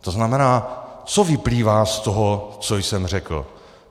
To znamená, co vyplývá z toho, co jsem řekl?